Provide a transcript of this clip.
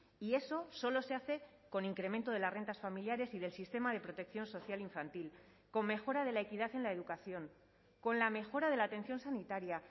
y eso solo se hace con incremento de las rentas familiares y del sistema de protección social infantil con mejora de la equidad en la educación con la mejora de la atención sanitaria